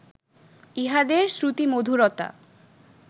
ইহাদের শ্রুতিমধুরতা